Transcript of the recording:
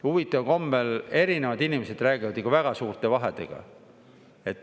Huvitaval kombel erinevad inimesed räägivad ikka väga suurte vahedega.